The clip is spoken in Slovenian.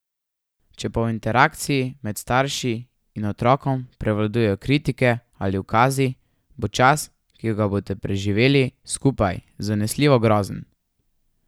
Če pa v interakciji med starši in otrokom prevladujejo kritike ali ukazi, bo čas, ki ga boste preživeli skupaj, zanesljivo grozen.